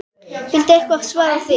Viltu eitthvað svara því?